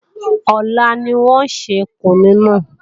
Ọ̀la ni wọ́n ò ṣe kùnú náà